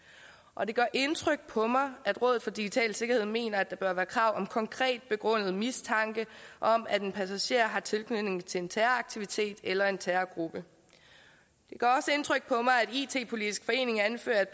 og det gør indtryk på mig at rådet for digital sikkerhed mener at der bør være krav om konkret begrundet mistanke om at en passager har tilknytning til en terroraktivitet eller en terrorgruppe det gør indtryk på mig at it politisk forening anfører at